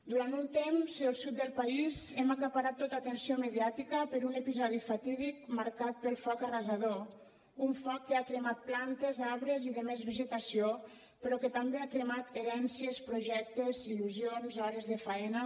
durant un temps el sud del país hem acaparat tota atenció mediàtica per un episodi fatídic marcat pel foc arrasador un foc que ha cremat plantes arbres i més vegetació però que també ha cremat herències projectes il·lusions hores de faena